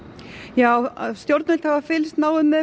já stjórnvöld hafa fylgst náið með